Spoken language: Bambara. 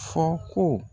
Fɔ ko